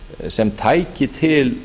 sem tæki til